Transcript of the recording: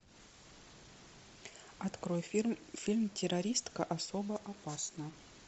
открой фильм террористка особо опасна